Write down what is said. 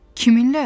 Kiminlə?